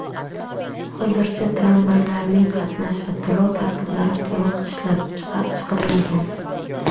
Hozircha tramvaylarning qatnash va to‘lov tartiblari to‘liq ishlab chiqilmagan.